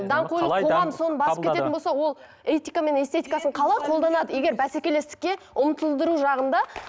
даңғойлық қоғам соны басып кететін болса ол этика мен эстетикасын қалай қолданады егер бәсекелестікке ұмтылдыру жағында